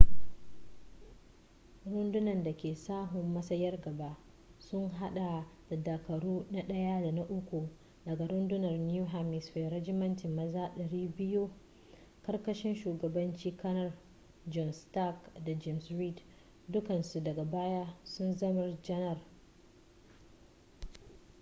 runduna dake sahun matsayar gaba sun hada da dakaru na 1 da na 3 daga rundunar new hampshire rajimantin maza 200 karkashin shugabancin kanar john stark da james reed dukkansu daga baya sun zama janar